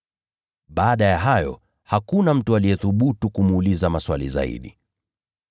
Baada ya hayo hakuna mtu aliyethubutu kumuuliza maswali tena.